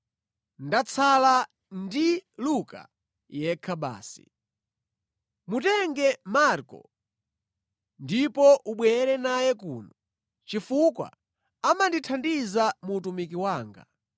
Ndatsala ndi Luka yekha basi. Mutenge Marko ndipo ubwere naye kuno, chifukwa amandithandiza mu utumiki wanga.